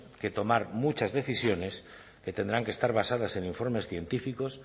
que tomar muchas decisiones que tendrán que estar basadas en informes científicos